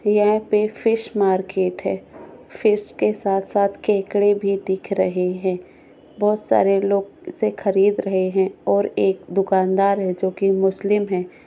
यहाँ पे fish market है फीश के साथ-साथ खेकडे भी दिख रहे हैं बहुत सारे लोग इसे खरीद रहे हैं और एक दुकानदार है जो कि मुस्लिम है।